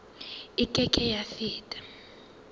e ke ke ya feta